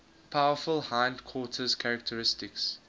powerful hindquarters characteristic